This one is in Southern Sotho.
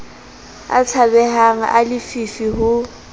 a tshabehang a lefifi ho